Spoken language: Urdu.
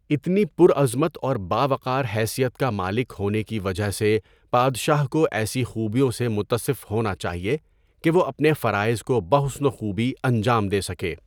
اِتنی پر عظمت اور باوقار حیثیت کا مالک ہونے کی وجہ سے پادشاہ کو ایسی خوبیوں سے متصف ہونا چاہیے کہ وہ اپنے فرائض کو بحسن و خوبی انجام دے سکے۔